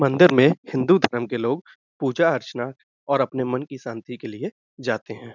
मंदिर में हिन्दू धर्म के लोग पूजा अर्चना और अपने मन की शांति के लिए जाते हैं।